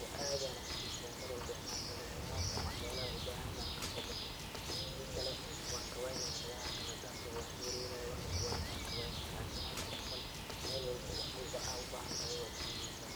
oo aad ayaan uxiiseya mar walbo inaan tago meelahas, wax yaabaha aan ubahan yahay kasoo gato hadii kale waan kawaynaaya melaha kale hadaan tago waana ku wareeraaya, waana kawaynaaya lakin halkan camal wax walbo aad ubahan tahay waad kaheleysa.